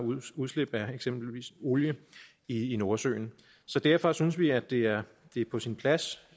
udslip af eksempelvis olie i nordsøen så derfor synes vi at det er på sin plads